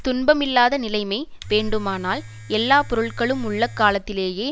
துன்பமில்லாத நிலைமை வேண்டுமானால் எல்லா பொருள்களும் உள்ள காலத்திலேயெ